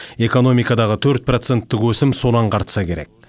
экономикадағы төрт проценттік өсім соны аңғартса керек